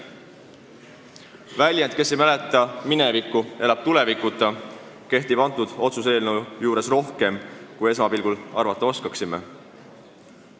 Kes minevikku ei mäleta, elab tulevikuta – see ütlemine kehtib selle otsuse eelnõu puhul rohkem, kui me esmapilgul ehk arvata oskame.